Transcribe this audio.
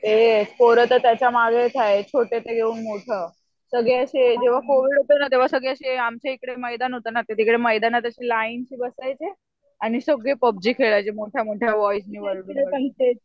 ए पोरं तर त्याच्या मागेच हाय छोटे मोठं. सगळे असे जेंव्हा कोविड होतं तेंव्हा आमच्या इकडे मैदान होतं ना तिकडे मैदानात लाईनशी बसायचे, आणि सगळे पबजी खेळायचे मोठ्या मोठ्या ओरडून ओरडून